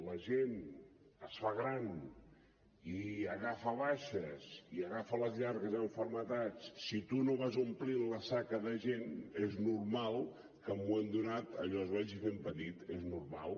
la gent es fa gran i agafa baixes i agafa les llargues malalties si tu no vas omplint la saca de gent és normal que en un moment donat allò es vagi fent petit és normal